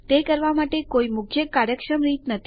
તે કરવા માટે કોઈ મુખ્ય કાર્યક્ષમ રીત નથી